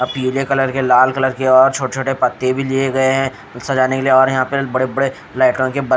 अः पिले कलर के लाल कलर के और छोटे छोटे पत्ते भी लिए गए है सजाने के लिए और यहाँ पर बड़े बड़े लेटन के--